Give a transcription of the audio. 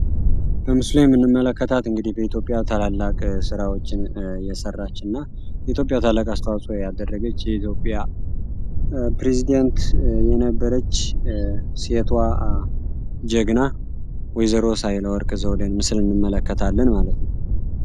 በምስሉ ላይ የምንመለከታት እንግዲህ በኢትዮጵያ ታላላቅ ስራዎችን የሰራች እና ለኢትዮጵያ ታላቅ አስተዋጽኦ ያደረገች የኢትዮጵያ ፕሬዚደንት የነበረች ሴቷ ጀግና ወይዘሮ ሳህለወርቅ ዘውዴን ምስል እንመለከታለን ማለት ነው።